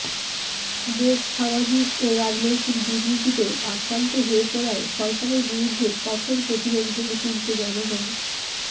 দেশ সামাজিক ও রাজনৈতিক দুর্নীতিতে আক্রান্ত হয়ে পড়ায় সরকারের বিরুদ্ধে কঠোর প্রতিরোধ গড়ে তুলতে জনগণ